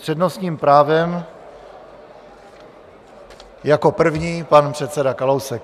S přednostním právem jako první pan předseda Kalousek.